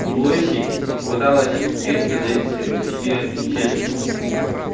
лоси попадалось редко зайцы почти исчезли